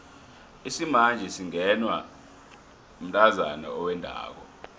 isimanje singenwa mntazana owendako